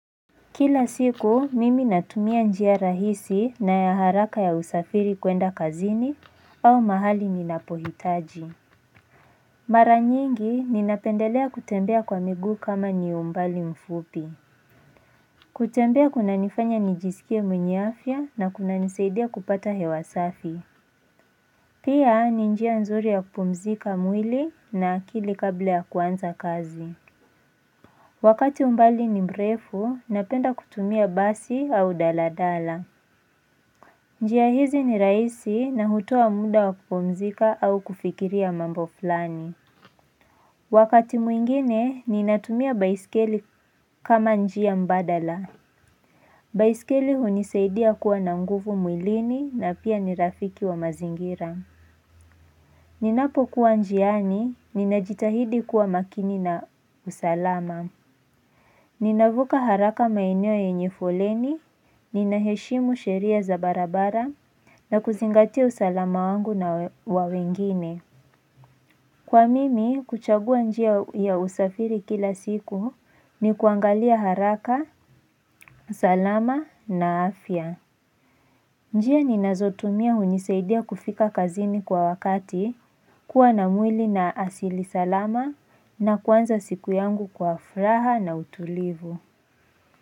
Kila siku mimi natumia njia rahisi na ya haraka ya usafiri kwenda kazini au mahali ninapohitaji Mara nyingi ninapendelea kutembea kwa miguu kama ni umbali mfupi kutembea kunanifanya nijisikie mwenye afya na kunanisaidia kupata hewa safi Pia ni njia nzuri ya kupumzika mwili na akili kabla ya kuanza kazi Wakati umbali ni mrefu napenda kutumia basi au daladala njia hizi ni rahisi na hutoa muda wa kupumzika au kufikiria mambo fulani. Wakati mwingine, ninatumia baiskeli kama njia mbadala. Baiskeli hunisaidia kuwa na nguvu mwilini na pia ni rafiki wa mazingira. Ninapokuwa njiani, ninajitahidi kuwa makini na usalama. Ninavuka haraka maeneo yenye foleni, ninaheshimu sheria za barabara, na kuzingatia usalama wangu na wa wengine. Kwa mimi, kuchagua njia ya usafiri kila siku ni kuangalia haraka, usalama na afya. Njia ninazotumia hunisaidia kufika kazini kwa wakati, kuwa na mwili na asili salama na kuanza siku yangu kwa furaha na utulivu.